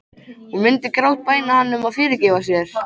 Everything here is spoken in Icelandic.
Hún myndi grátbæna hann um að fyrirgefa sér.